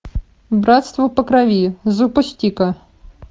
братство по крови запусти ка